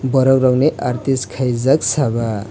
borok rokni artist khaijak seva.